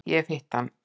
Ég hef hitt hann.